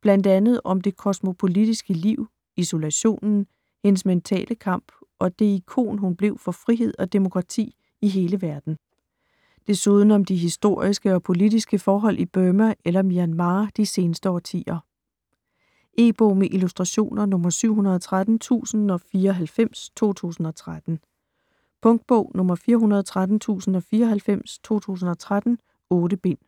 bl.a. om det kosmopolitiske liv, isolationen, hendes mentale kamp, og det ikon hun blev for frihed og demokrati i hele verden. Desuden om de historiske og politiske forhold i Burma eller Myanmar de seneste årtier. E-bog med illustrationer 713094 2013. Punktbog 413094 2013. 8 bind.